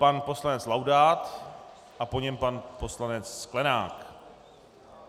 Pan poslanec Laudát a po něm pan poslanec Sklenák.